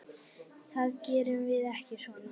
Það gerum við ekki svona.